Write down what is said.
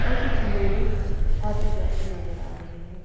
और कुछ लोग आते-जाते नज़र आ रहे हैं।